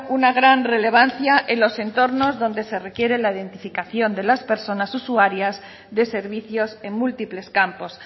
una gran relevancia en los entornos donde se requiere la identificación de las personas usuarias de servicios en múltiples campos